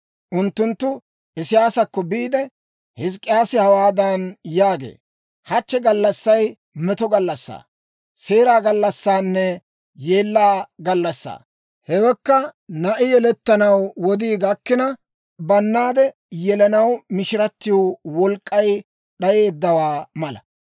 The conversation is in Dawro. Unttunttu Isiyaasakko biide, «Hizk'k'iyaasi hawaadan yaagee; ‹Hachche gallassay meto gallassaa, seera gallassanne yeella gallassaa. Hewekka na'i yelettanaw wodii gakkina, bannaade yelanaw mishiratiw wolk'k'ay d'ayiyaawaa mala.